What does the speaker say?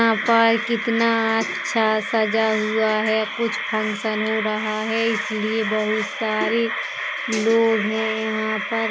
यहां पर कितना अच्छा सजा हुआ है। कुछ फंक्शन हो रहा है इसलिए बोहोत सारी लोग हैं यहां पर।